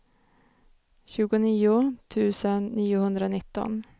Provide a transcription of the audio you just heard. tjugonio tusen niohundranitton